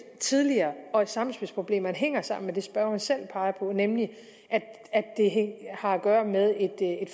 tidligere og sammenspilsproblemerne hænger sammen med det spørgeren selv peger på nemlig at det har at gøre med et